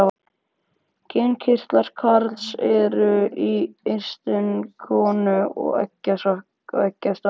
Kynkirtlar karls eru eistun en konu eggjastokkarnir.